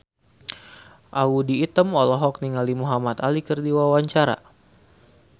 Audy Item olohok ningali Muhamad Ali keur diwawancara